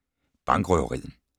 Bankrøveriet